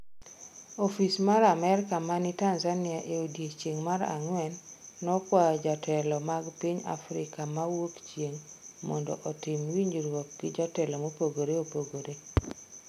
Ofis mar Amerka ma ni Tanzania e odiechieng’ mar ang'wen nokwayo jotelo mag piny Afrika ma Wuokchieng’ mondo otim winjruok gi jotelo mopogore opogore.